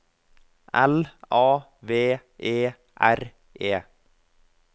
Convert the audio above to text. L A V E R E